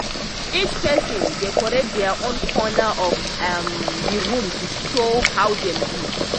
each person decorate dia own corner of um the room to show how dem be